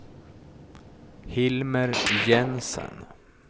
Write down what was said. Hilmer Jensen